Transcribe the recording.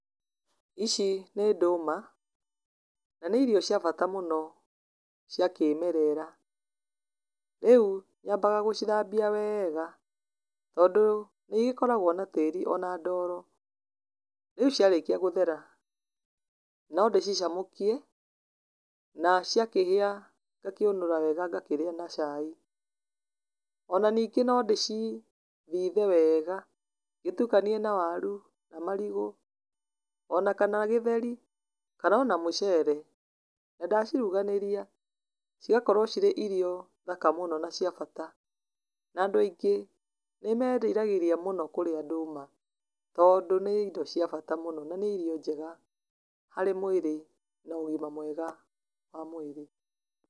Ici nĩ ndũma na nĩ irio cia bata mũno cia kĩmerera. Rĩu nyambaga gũcithambia wega, tondũ nĩ ĩgĩkoragwo na tĩri ona ndoro. Rĩu ciarĩkia gũthera no nĩ cicamũkie na ciakĩhĩa ngakĩũnũra wega ngakĩrĩa na cai. Ona ningĩ no ndĩcithithe wega ngĩtukanie na waru, na marigũ, ona kana gĩtheri, kana ona mũcere, na ndaciruganĩria cigakorwo cirĩ ĩrio thaka mũno na cia bata. Na andũ aingĩ nĩ meriragĩria mũno kũrĩa ndũma tondũ nĩ ĩndo cia bata mũno na nĩ irio njega harĩ mwĩrĩ na ũgima mwega wa mwĩrĩ.